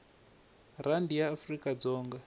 rhandi ya afrikadzonga